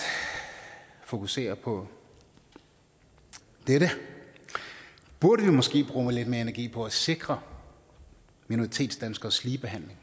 fokusere på dette burde vi måske bruge lidt mere energi på at sikre minoritetsdanskeres ligebehandling